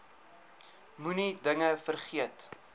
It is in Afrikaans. moenie dinge vergeet